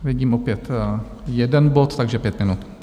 Vidím opět jeden bod, takže pět minut.